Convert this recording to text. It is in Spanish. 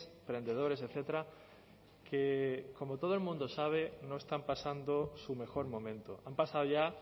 emprendedores etcétera que como todo el mundo sabe no están pasando su mejor momento han pasado ya